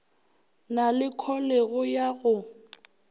na le kholego ya go